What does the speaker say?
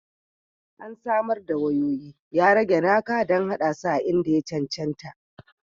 An samar da wayoyi, ya rage naka don haɗa su a inda ya cancanta